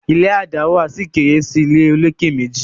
ilé a dáwà sí kéré sí ìlé olokè méjì